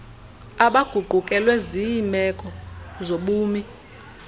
abaguqukelwe ziimeko zobumi